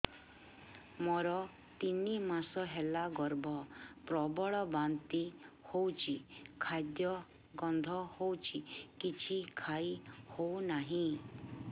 ମୋର ତିନି ମାସ ହେଲା ଗର୍ଭ ପ୍ରବଳ ବାନ୍ତି ହଉଚି ଖାଦ୍ୟ ଗନ୍ଧ ହଉଚି କିଛି ଖାଇ ହଉନାହିଁ